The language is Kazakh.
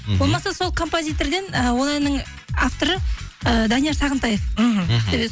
болмаса сол композитерден ы ол әннің авторы ы данияр сағынтаев мхм мхм